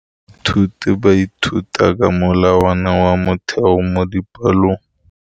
Baithuti ba ithuta ka molawana wa motheo mo dipalong.